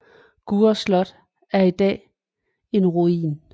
Gurre Slot er i dag en ruin